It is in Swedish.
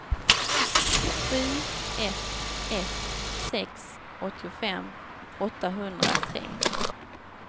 sju ett ett sex åttiofem åttahundratre